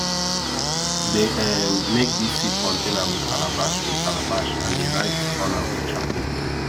dey um make dis seed container with calabash with calabash and dey write on am with charcoal